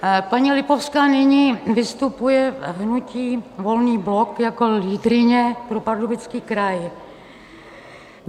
Paní Lipovská nyní vystupuje v hnutí Volný blok jako lídryně pro Pardubický kraj.